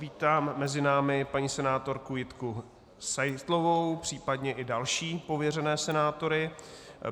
Vítám mezi námi paní senátorku Jitky Seitlovou, případně i další pověřené senátory.